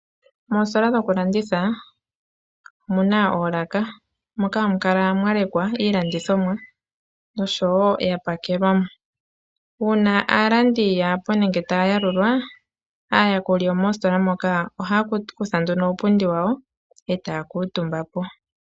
Moostola dhoku landitha omuna oolaka moka hamu kala mwa lekwa iilandithomwa noshowo yapakelwa. Uuna aalandi kaayepo nenge taya yalulwa aayakuli yomoostola moka ohaya kutha nduno uupundi wawo etaya kuutumba po.